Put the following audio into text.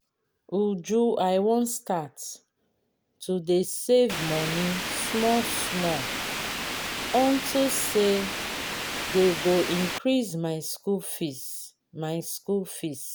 uju i wan start to dey save money small small unto say dey go increase my school fees my school fees